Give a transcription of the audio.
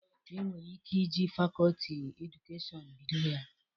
E nwere ike iji fakoti Edukashọn bido ya.